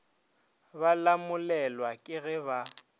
ba lamolelwa ke ge ba